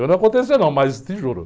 Eu não aconteceu não, mas te juro.